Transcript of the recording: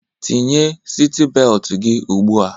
Tinye siti beltu gị ugbua!